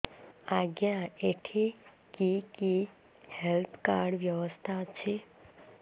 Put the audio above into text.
ଆଜ୍ଞା ଏଠି କି କି ହେଲ୍ଥ କାର୍ଡ ବ୍ୟବସ୍ଥା ଅଛି